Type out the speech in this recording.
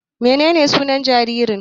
Menene sunan jaririn?